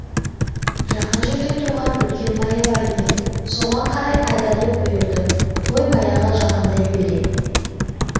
жақын жерде тұрған үлкен мая бар екен соған қарай айда деп бұйырды қой маяға жақындай бере